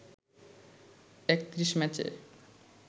৩১ ম্যাচে